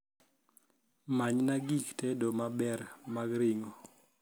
manyna gik tedo maber mar ringo